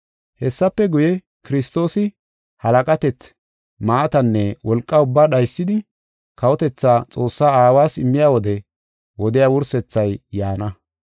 Hessafe guye, Kiristoosi halaqatethi, maatanne wolqa ubbaa dhaysidi, kawotethaa Xoossa Aawas immiya wode wodiya wursethay yaana.